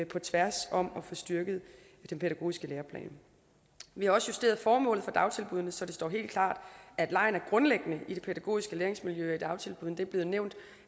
på tværs om at få styrket den pædagogiske læreplan vi har også justeret formålet med dagtilbuddene så det står helt klart at leg er grundlæggende i det pædagogiske læringsmiljø i dagtilbuddene det blevet nævnt